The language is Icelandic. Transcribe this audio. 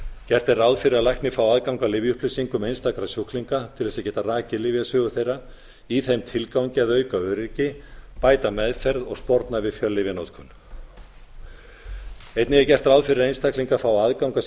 gert er ráð fyrir að læknir fái aðgang að lyfjaupplýsingum einstakra sjúklinga til þess að geta rakið lyfjasögu þ fyrra í þeim tilgangi að auka öryggi bæta meðferð og sporna við fjöllyfjanotkun einnig er gert ráð fyrir að einstaklingar fái aðgang að